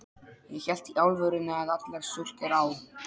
Ég hélt í alvörunni að allar stúlkur á